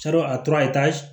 a tora ye taa